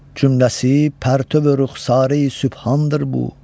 Cümləsi pərtöv rüxsarı sübhandır bu.